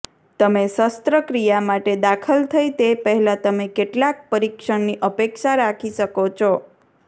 તમે શસ્ત્રક્રિયા માટે દાખલ થઈ તે પહેલાં તમે કેટલાક પરીક્ષણની અપેક્ષા રાખી શકો છો